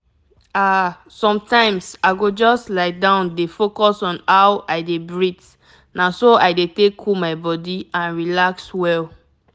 ah sometimes i go just lie down dey focus on how i dey breathe na so i dey take cool my body and relax well.